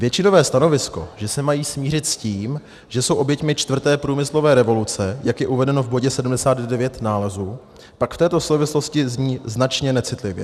Většinové stanovisko, že se mají smířit s tím, že jsou oběťmi čtvrté průmyslové revoluce, jak je uvedeno v bodě 79 nálezu, pak v této souvislosti zní značně necitlivě.